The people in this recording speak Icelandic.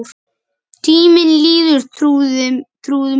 Tíminn líður, trúðu mér